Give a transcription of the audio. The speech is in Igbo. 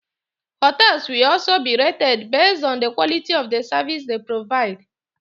Hotels will also always be rated based on the quality of the services they provide.